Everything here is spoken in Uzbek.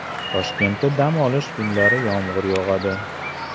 Toshkentda dam olish kunlari yomg‘ir yog‘adi.